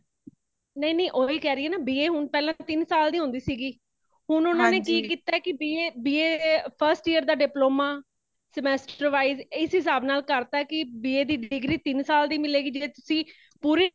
ਨਹੀ ,ਨਹੀ ਉਹ ਵੀ ਕੇ ਰਹੀ ਹੈ ਨਾ B.A ਹੁਣ ਪਹਿਲਾਂ ਤਿਨ ਸਾਲ ਦੀ ਹੋਂਦੇ ਸੀਗੀ , ਹੁਣ ਓਨਾ ਨੇ ਕੀ ਕੀਤਾ ਹੈ ਕੀ B.A ਏ B.A first year ਦਾ diploma semester wise ਐਸੀ ਹਿਸਾਬ ਨਾਲ ਕਰ ਤਾ ਕੀ ,B.A ਦੀ degree ਤੀਨ ਸਾਲ ਦੀ ਮਿਲੇਗੀ , ਜੀਦੇਚ ਅਸੀ ਪੂਰੀ